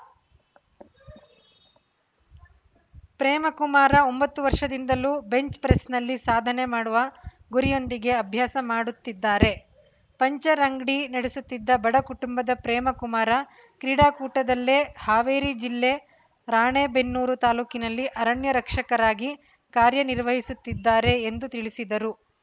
ಪ್ರೇಮಕುಮಾರ ಒಂಬತ್ತು ವರ್ಷದಿಂದಲೂ ಬೆಂಚ್‌ ಪ್ರೆಸ್‌ನಲ್ಲಿ ಸಾಧನೆ ಮಾಡುವ ಗುರಿಯೊಂದಿಗೆ ಅಭ್ಯಾಸ ಮಾಡುತ್ತಿದ್ದಾರೆ ಪಂಕ್ಚರ್‌ ಅಂಗಡಿ ನಡೆಸುತ್ತಿದ್ದ ಬಡ ಕುಟುಂಬದ ಪ್ರೇಮಕುಮಾರ ಕ್ರೀಡಾ ಕೂಟದಲ್ಲೇ ಹಾವೇರಿ ಜಿಲ್ಲೆ ರಾಣೆಬೆನ್ನೂರು ತಾಲೂಕಿನಲ್ಲಿ ಅರಣ್ಯ ರಕ್ಷಕರಾಗಿ ಕಾರ್ಯ ನಿರ್ವಹಿಸುತ್ತಿದ್ದಾರೆ ಎಂದು ತಿಳಿಸಿದರು